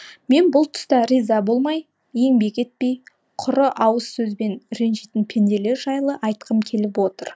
мен бұл тұста риза болмай еңбек етпей құры ауыз сөзбен ренжитін пенделер жайлы айтқым келіп отыр